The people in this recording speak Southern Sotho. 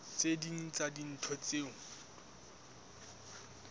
tse ding tsa dintho tseo